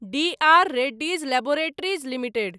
D R Reddy's laboratories limited